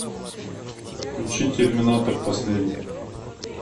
включи терминатор последний